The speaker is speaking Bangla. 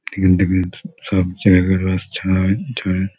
এখান থেকে স সব জায়গার বাস ছাড়া হয়। ছাড়ে--